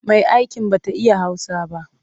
Mai'aikin ba ta iya Hausa ba.